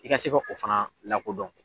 I ka se ka o fana lakodɔn